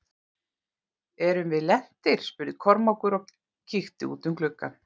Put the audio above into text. Erum við lentir spurði Kormákur og kíkti út um gluggann.